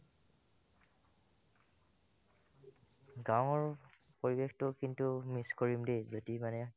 গাৱৰ পৰিবেশটো কিন্তু miss কৰিম দে যদি মানে